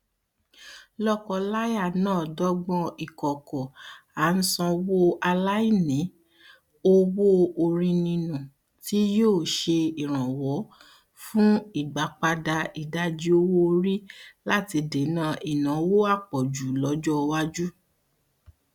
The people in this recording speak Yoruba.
lọkọláya náà dọgbọn ìkọkọ àńṣòwòaláìní owóorínínú tí yóò ṣe ìrànwọ fún ìgbàpadà ìdajì owóorí láti dènà ìnáwó àpọjù lọjọ iwájú